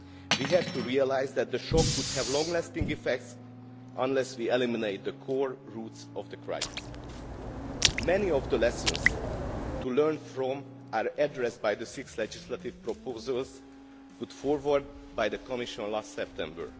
We have to realise that the shock would have long lasting effects unless we eliminate the core roots of the crisis. Many of the lessons to be learned are addressed by the six legislative proposals put forward by the Commission last September.